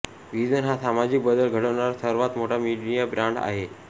vision हा सामाजिक बदल घडवणारा सर्वात मोठा मीडिया ब्रॅंड आहे